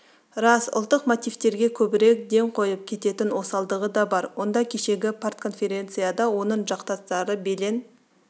рас ұлттық мотивтерге көбірек ден қойып кететін осалдығы да бар онда кешегі партконференцияда оның жақтастары белең